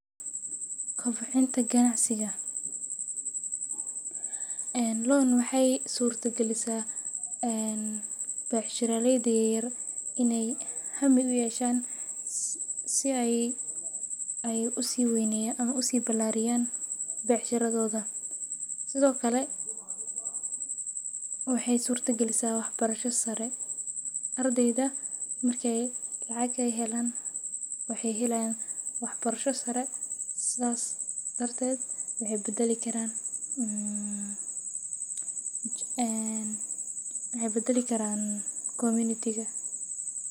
Kobcinta ganacsiga becshiraleyda yaryar inaay hami uyeeshan si aay usii balariyan lacag aay helaan waxeey helayan wax barasho sare waxeey badali karaan bulshada.